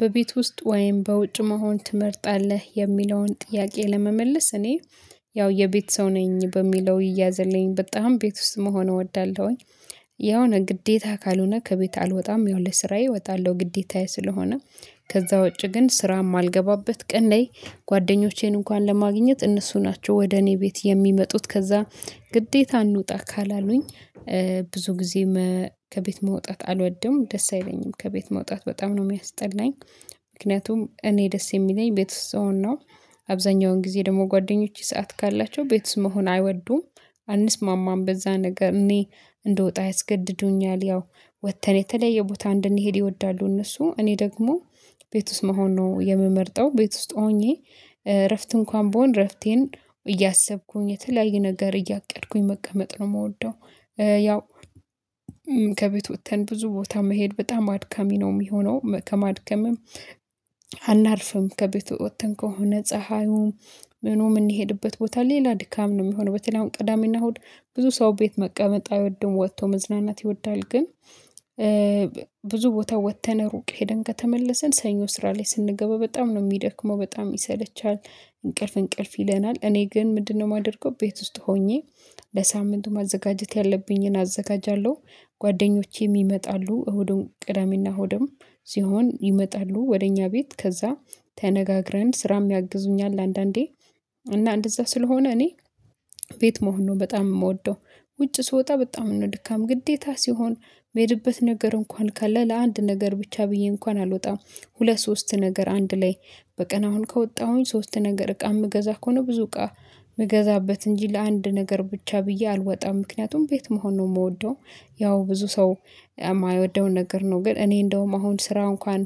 በቤት ውስጥ ወይም በውጭ መሆን ትመርጣለህ የሚለውን ጥያቄ ለመመለስ እኔ ያው የቤት ሰው ነኝ በሚለው ይያዘልኝ በጣም ቤት ውስጥ መሆን እወዳለሁኝ። የሆነ ግዴታ ካልሆነ ከቤት አልወጣም ያው ለስራዬ እወጣለሁ ግዴታዬ ስለሆነ ከዛ ውጪ ግን ስራ የማልገባበት ቀን ላይ ጓደኞቼን እንኳን ለማግኘት እነሱ ናቸው ወደ እኔ ቤት የሚመጡት ከዛ ግዴታ እንውጣ ካላሉኝ ብዙ ጊዜ ከቤት መውጣት አልወድም ደስ አይለኝም ከቤት መውጣት በጣም ነው የሚያስጠላኝ። ምክንያቱም እኔ ደስ የሚለኝ ቤት ውስጥ ስሆን ነው አብዛኛውን ጊዜ ደግሞ ጓደኞቼ ሰዓት ካላቸው ቤት ውስጥ መሆን አይወዱም። አንስማማም በዛ ነገር እኔ እንድወጣ ያስገድዱኛል ያው ወጥተን የተለየ ቦታ እንድንሄድ ይወዳሉ እነሱ እኔ ደግሞ ቤት ውስጥ መሆን ነው የምመርጠው ቤት ውስጥ ሆኜ እረፍት እንኳን ብሆን እረፍቴን እያሰብኩኝ የተለያየ ነገር እያቀድኩኝ መቀመጥ ነው የምወደው። ያው ከቤት ወጥተን ብዙ ቦታ መሄድ በጣም አድካሚ ነው የሚሆነው ከማድከምም አናርፍም ከቤት ወጥተን ከሆነ ፀሀዩም ምኑ የምንሄድበት ቦታ ሌላ ድካም ነው የሚሆነው። በተለይ አሁን ቅዳሜና እሁድ ብዙ ሰው ቤት መቀመጥ አይወድም ወጥቶ መዝናናት ይወዳል። ግን ብዙ ቦታ ወጥተን ሩቅ ሄደን ከተመለስን ሰኞ ስራ ላይ ስንገባ በጣም ነው የሚደክመው በጣም ይሰለቻል። እንቅልፍ እንቅልፍ ይለናል እኔ ግን ምንድነው? የማደርገው ቤት ውስጥ ሆኜ ለሳምንቱ ማዘጋጀት ያለብኝን አዘጋጃለሁ። ጓደኞቼም ይመጣሉ እሁድን ቅዳሜና እሁድም ሲሆን ይመጣሉ ወደ እኛ ቤት ከዛ ተነጋግረን ስራም ያግዙኛል አንዳንዴ እና እንደዛ ስለሆነ እኔ ቤት መሆን ነው በጣም የምወደው። ውጭ ስወጣ በጣም ነው ድካም ግዴታ ሲሆን የሚሄድበት ነገር እንኳን ካለ ለአንድ ነገር ብቻ ብዬ እንኳን አልወጣም። ሁለት ሶስት ነገር አንድ ላይ በቀን አሁን ከወጣሁኝ ሶስት ነገር እቃ የምገዛ ከሆነ ብዙ እቃ የምገዛበት እንጂ ለአንድ ነገር ብቻ ብዬ አልወጣም ምክንያቱም ቤት መሆን ነው የምወደው። ያው ብዙ ሰው የማይወደው ነገር ነው ግን እኔ እንደውም አሁን ስራ እንኳን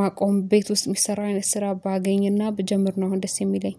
ማቆም ቤት ውስጥ የሚሰራ አይነት ስራ ባገኝና ብጀምር ነው አሁን ደስ የሚለኝ